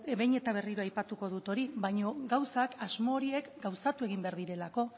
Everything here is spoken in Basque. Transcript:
behin eta berriro aipatuko dut hori baina asmo horiek gauzatu egin behar direlako